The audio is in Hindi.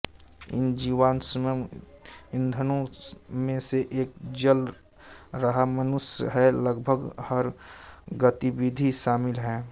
इन जीवाश्म ईंधनों में से एक जल रहा मनुष्य है लगभग हर गतिविधि शामिल है